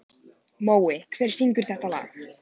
Mói, hver syngur þetta lag?